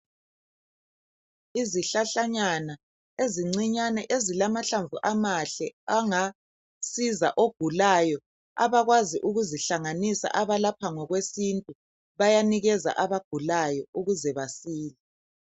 Izihlahlanyana ezincinyane ezilamahlamvu amahle angasiza ogulayo. Abakwazi ukuzihlanganisa abalapha ngokwesintu bayanikeza abagulayo ukuze basile.